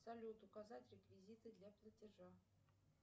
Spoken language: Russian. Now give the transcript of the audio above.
салют указать реквизиты для платежа